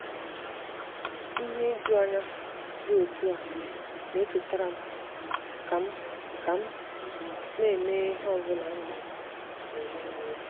ihe ijuanya dị otú a na-echetara m ka m m ka m na-emeghe ihe ọ bụla ndụ na-enye n'efu.